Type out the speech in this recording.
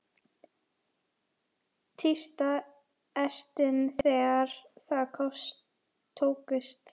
Tísta ertin þegar það tókst.